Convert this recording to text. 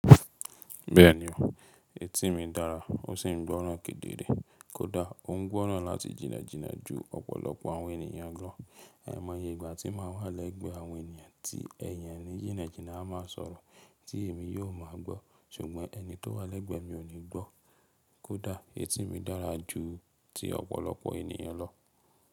Bẹ́ẹ̀ni o, etí mi dára ó sì ń gbọ́ràn kedere, kódà ó ń gbọ́ràn láti jìnnàjìnnà ju ọ̀pọ̀lọpọ̀ àwọn ènìyàn lọ. Ai mọ̀ ye ìgbà tí màá wá lẹ́gbẹ àwọn ènìyàn tí ènìyàn nì jìnnàjìnnà a máa sọ̀rọ̀ tí èmi yóò máa gbọ́, ṣùgbọ́n ẹni tó wá lẹ́gbẹ mi ò ní gbọ́. Kódà etí mi dára ju ti ọ̀pọ̀lọpọ̀ ènìyàn lọ.